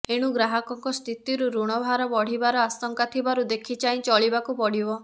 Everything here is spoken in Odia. ଏଣୁ ଗ୍ରହକଙ୍କ ସ୍ଥିତିରୁ ଋଣଭାର ବଢିବାର ଆଶଙ୍କା ଥିବାରୁ ଦେଖିଚାହିଁ ଚଳିବାକୁ ପଡିବ